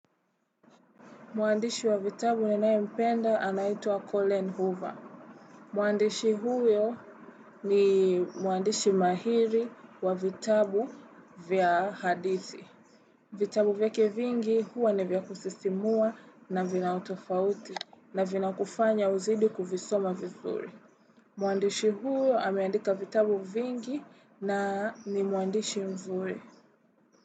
Mwandishi wa vitabu ninayempenda anaitua Colin Hoover. Mwandishi huyo ni mwandishi mahiri wa vitabu vya hadizi. Vitabu vyake vingi huwa ni vya kusisimua na vina utofauti na vina kufanya uzidi kuvisoma vizuri. Mwandishi huyo ameandika vitabu vingi na ni mwandishi mzuri.